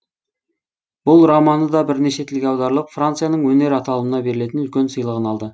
бұл романы да бірнеше тілге аударылып францияның өнер аталымына берілетін үлкен сыйлығын алды